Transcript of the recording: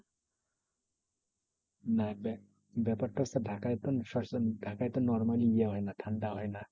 ব্যাপারটা হচ্ছে, ঢাকায় তো সবসময় ঢাকায় তো normally ইয়ে হয়না ঠান্ডা হয় না।